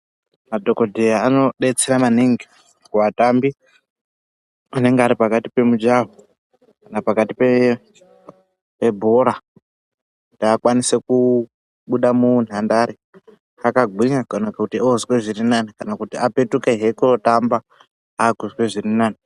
Madhokodheya anodetsira maningi kuvatambi anenge ari pakati pemujaho kana pakati pebhora kuti akwanise kubuda munhandare akagwinya kana kuti oozwe zvirinani apetukehe kotamba aakuzwe zviri nani.